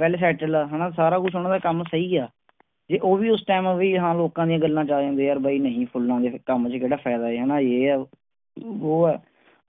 well settled ਹੈ ਹਣਾ ਸਾਰਾ ਕੁਛ ਓਹਨਾਂ ਦਾ ਕੰਮ ਸਹੀ ਆ ਜੇ ਉਹ ਵੀ ਉਸ ਟਾਈਮ ਵੀ ਹਾਂ ਲੋਕਾਂ ਦੀਆਂ ਗਲਾਂ ਚ ਆ ਜਾਂਦੇ ਵੀ ਯਾਰ ਬਾਈ ਨਹੀਂ ਫੁਲਾਂ ਦੇ ਕੰਮ ਚ ਕਿਹੜਾ ਫਾਇਦਾ ਹੈ ਇਹ ਆ ਵੋ ਆ